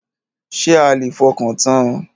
Ṣé a lè fọkàntan?